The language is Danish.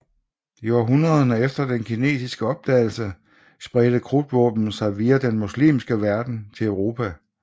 I århundrederne efter den kinesiske opdagelse spredte krudtvåben sig via den muslimske verden til Europa